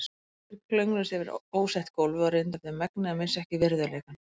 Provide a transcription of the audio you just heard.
Þeir klöngruðust yfir óslétt gólfið og reyndu eftir megni að missa ekki virðuleikann.